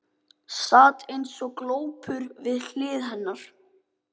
Sat eins og glópur við hlið hennar.